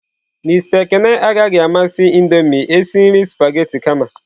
Mister Ekene agaghị amasị Indomie esi nri spaghetị kama.